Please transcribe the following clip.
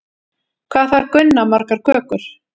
Hvað þarf Gunna margar kökur?